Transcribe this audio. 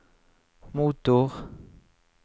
motor